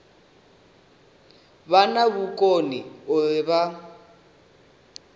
vha na vhukoni uri vha